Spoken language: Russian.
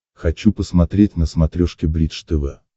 хочу посмотреть на смотрешке бридж тв